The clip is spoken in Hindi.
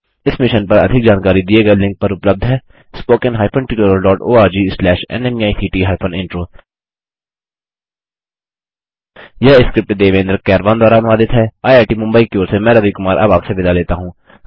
इस मिशन पर अधिक जानकारी दिए गए लिंक पर उपलब्ध है httpspoken tutorialorgNMEICT Intro यह स्क्रिप्ट देवेन्द्र कैरवान द्वारा अनुवादित हैआईआईटी मुंबई की ओर से मैं रवि कुमार अब आपसे विदा लेता हूँ